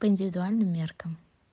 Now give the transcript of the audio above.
по индивидуальным меркам